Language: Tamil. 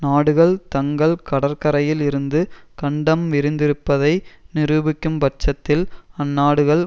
நாடுகள் தங்கள் கடற்கரையில் இருந்து கண்டம் விரிந்திருப்பதை நிரூபிக்கும்பட்சத்தில் அந்நாடுகள்